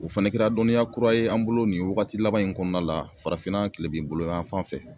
O fɛnɛ kɛra dɔniya kura ye an bolo nin wagati laban in kɔɔna la farafinna kilebin boloyanfan fɛ.